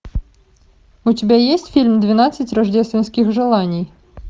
у тебя есть фильм двенадцать рождественских желаний